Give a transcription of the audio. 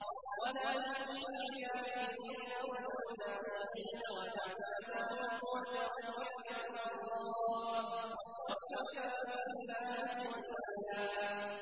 وَلَا تُطِعِ الْكَافِرِينَ وَالْمُنَافِقِينَ وَدَعْ أَذَاهُمْ وَتَوَكَّلْ عَلَى اللَّهِ ۚ وَكَفَىٰ بِاللَّهِ وَكِيلًا